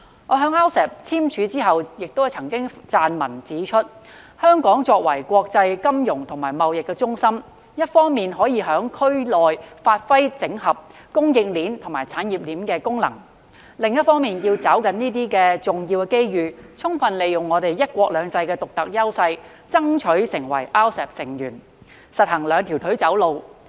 我在 RCEP 簽署後亦曾撰文指出，香港作為國際金融與貿易中心，一方面可以在區內發揮整合供應鏈與產業鏈的功能；另一方面要抓緊重要機遇，充分利用"一國兩制"的獨特優勢，爭取成為 RCEP 成員，實行兩條腿走路。